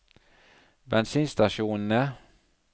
bensinstasjonene